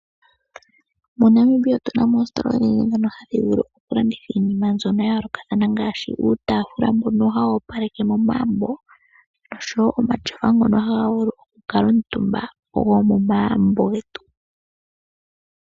MoNamibia omuna oositola odhindji dhoka hadhi vulu okulanditha uutafula mbono woku opaleka momagumbo, nosho woo omatyofa ngono ha ku kuutumbwa kaantu.